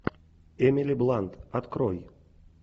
эмили блант открой